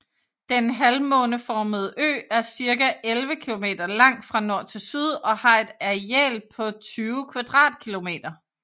Den halvmåneformede ø er cirka 11 kilometer lang fra nord til syd og har et areal på 20 km²